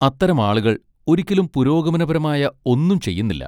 അത്തരം ആളുകൾ ഒരിക്കലും പുരോഗമനപരമായ ഒന്നും ചെയ്യുന്നില്ല.